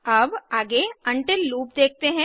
अब आगे until loop देखते हैं